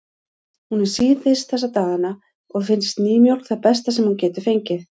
Hún er síþyrst þessa dagana og finnst nýmjólk það besta sem hún getur fengið.